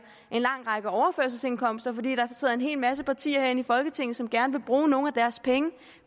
en lang række overførselsindkomster fordi der sidder en hel masse partier her inde i folketinget som gerne vil bruge nogle af deres penge